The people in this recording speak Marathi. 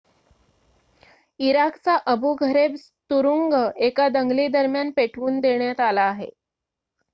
इराकचा अबु घरेब तुरुंग एका दंगलीदरम्यान पेटवून देण्यात आला आहे